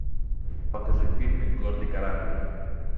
покажи фильмик гордый кораблик